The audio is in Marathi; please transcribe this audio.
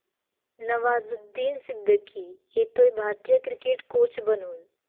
नवाजुद्दीन सिद्दीकी येतोय भारतीय क्रिकेट कोच बनून!